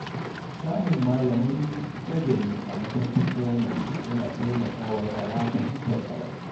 Samun malamai nagari a matakin firamare yana taimaka wa yara fahimtar karatu.